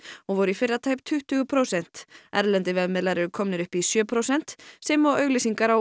og voru í fyrra tæp tuttugu prósent erlendir vefmiðlar eru komnir upp í sjö prósent sem og auglýsingar á